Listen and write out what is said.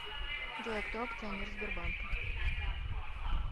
джой а кто акционер сбербанка